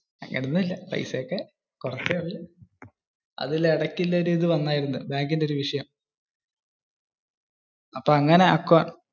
എന്ത്? പൈസ ഒക്കെ കുറച്ചേ ഉള്ളു. അത് ഇടയ്ക്കു ഒരു ഇത് വന്നതായിരുന്നു. ബാങ്കിന്റെ ഒരു വിഷയം.